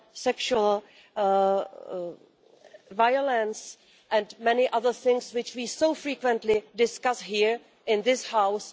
sexual violence and many other things which we frequently discuss here in this House.